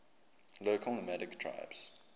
local nomadic tribes